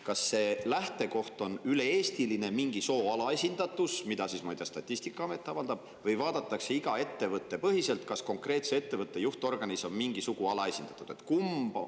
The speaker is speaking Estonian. Kas selle lähtekoht on üle-eestiline, et on mingi alaesindatud sugu, mida siis, ma ei tea, Statistikaamet avaldab, või vaadatakse seda ettevõtte põhiselt, kas konkreetse ettevõtte juhtorganis on mingi sugu alaesindatud?